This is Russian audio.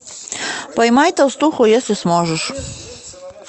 поймай толстуху если сможешь